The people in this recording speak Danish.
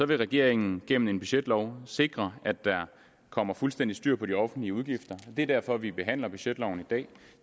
vil regeringen gennem en budgetlov sikre at der kommer fuldstændig styr på de offentlige udgifter det er derfor vi behandler budgetloven i dag